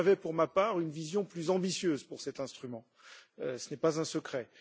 J'avais pour ma part une vision plus ambitieuse pour cet instrument, ce n'est pas un secret.